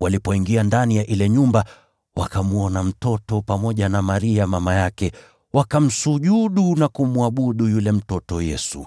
Walipoingia ndani ya ile nyumba, wakamwona mtoto pamoja na Maria mama yake, wakamsujudu na kumwabudu yule mtoto Yesu.